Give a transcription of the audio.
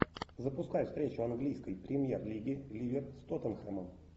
запускай встречу английской премьер лиги ливер с тоттенхэмом